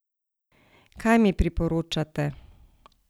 Kaj mi priporočate?